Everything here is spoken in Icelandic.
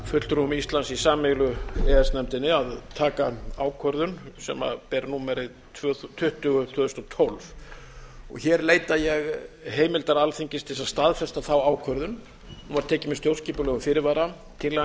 fulltrúum íslands í sameiginlegu e e s nefndinni að taka ákvörðun sem ber númerið tuttugu tvö þúsund og tólf hér leita ég heimildar alþingis til þess að staðfesta þá ákvörðun hún var tekin með stjórnskipulegum fyrirvara tillagan